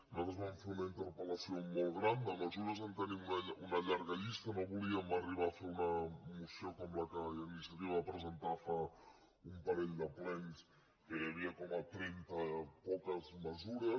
nosaltres vam fer una interpel·lació molt gran de mesures en tenim una llarga llis·ta i no volíem arribar a fer una moció com la que iniciativa va presentar fa un parell de plens en què hi havia com a trenta i poques mesures